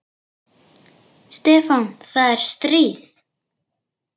Stefán, það er stríð.